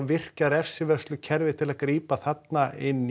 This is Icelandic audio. virkja refsivörslukerfið til að grípa þarna inn